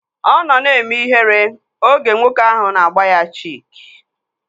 Ọ nọ na-eme ihere oge nwoke ahụ na-agba ya chik